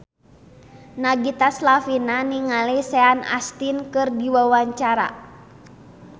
Nagita Slavina olohok ningali Sean Astin keur diwawancara